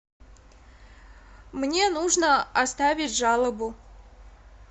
мне нужно оставить жалобу